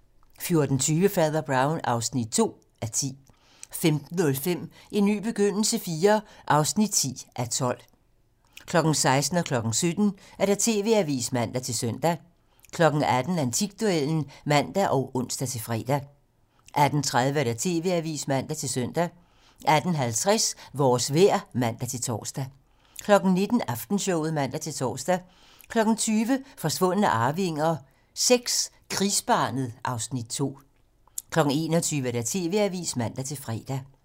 14:20: Fader Brown (2:10) 15:05: En ny begyndelse IV (10:12) 16:00: TV-Avisen (man-søn) 17:00: TV-Avisen (man-søn) 18:00: Antikduellen (man og ons-fre) 18:30: TV-Avisen (man-søn) 18:50: Vores vejr (man-tor) 19:00: Aftenshowet (man-tor) 20:00: Forsvundne arvinger VI: Krigsbarnet (Afs. 2) 21:00: TV-Avisen (man-fre)